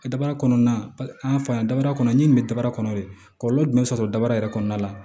A dabara kɔnɔna an fa dabara kɔnɔ n ye nin bɛ dabara kɔnɔ de kɔlɔlɔ jumɛn bɛ sɔrɔ dabara yɛrɛ kɔnɔna la